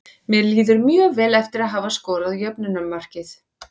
Mér líður mjög vel eftir að hafa skorað jöfnunarmarkið.